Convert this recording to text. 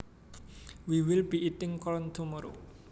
We will be eating corn tomorrow